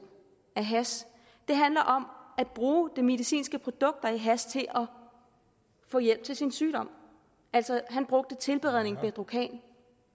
af hash det handler om at bruge det medicinske produkt der er i hash til at få hjælp til sin sygdom han brugte tilberedningen bedrocan